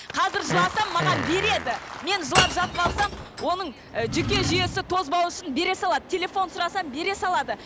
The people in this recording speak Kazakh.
қазір жыласам маған береді мен жылап жатып алсам оның ы жүйке жүйесі тозбау үшін бере салады телефон сұрасам бере салады